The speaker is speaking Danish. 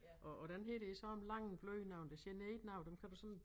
Og og den her det sådan lange bløde nogle det generer ikke nogen dem kan du sådan